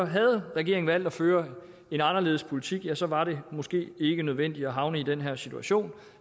havde regeringen valgt at føre en anderledes politik ja så var det måske ikke nødvendigt at havne i den her situation